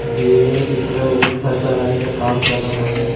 दिए गए चित्र में घर बनाने का काम चल रहा है।